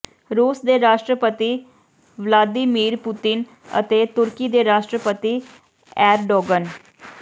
ਰੂਸ ਦੇ ਰਾਸ਼ਟਰਪਤੀ ਵਲਾਦੀਮੀਰ ਪੂਤਿਨ ਅਤੇ ਤੁਰਕੀ ਦੇ ਰਾਸ਼ਟਰਪਤੀ ਏਰਡੋਗਨ